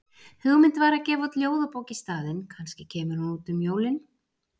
Hugmynd var að gefa út ljóðabók í staðinn, kannski kemur hún út um jólin?